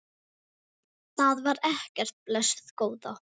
Það var ekkert, blessuð góða.